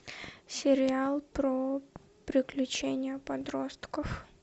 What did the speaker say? сериал про приключения подростков